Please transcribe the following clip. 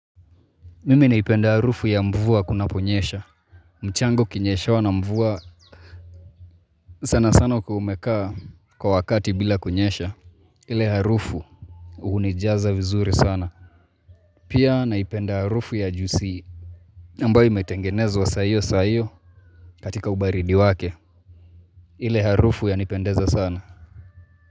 Mimi naipenda harufu ya mvua kuna ponyesha. Mchanga ukinyeshewa na mvua. Sana sana ukiwaumekaa kwa wakati bila kunyesha. Ile harufu hunijaza vizuri sana. Pia naipenda harufu ya jusi. Ambayo imetengenezwa saahiyo saahiyo katika ubaridi wake. Ile harufu yanipendeza sana.